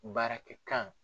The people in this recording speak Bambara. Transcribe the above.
Baarakɛkan